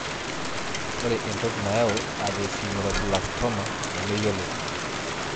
Ore entoki nayau esthesioneuroblastoma nemeyioloi.